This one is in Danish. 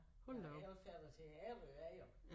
Ja elfærge til Ærø er jo